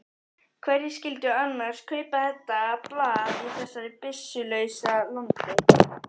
Hverjir skyldu annars kaupa þetta blað í þessu byssulausa landi?